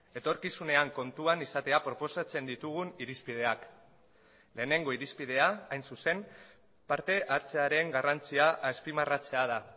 etorkizunean kontuan izatea proposatzen ditugun irizpideak lehenengo irizpidea hain zuzen partehartzearen garrantzia azpimarratzea da